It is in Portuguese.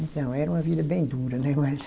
Então, era uma vida bem dura, né, mas